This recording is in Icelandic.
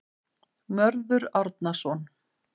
Mörður Árnason.